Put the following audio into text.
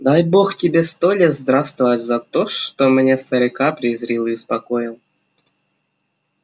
дай бог тебе сто лет здравствовать за то что меня старика призрил и успокоил